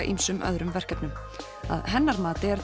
ýmsum öðrum verkefnum að hennar mati er